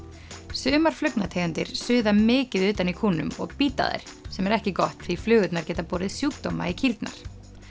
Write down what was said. sumar suða mikið utan í kúnum og bíta þær sem er ekki gott því flugurnar geta borið sjúkdóma í kýrnar